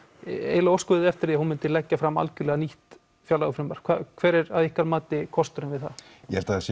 eiginlega óskuðuð þið eftir því að hún myndi leggja fram eiginlega algjörlega nýtt fjárlagafrumvarp hver er að ykkar mati kosturinn við það ég held að það sé